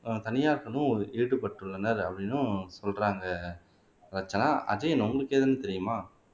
ஆஹ் தனியார்களும் ஈடுபட்டுள்ளனர் அப்படின்னும் சொல்றாங்க ரட்சனா அஜயன் உங்களுக்கு ஏதுன்னு தெரியுமா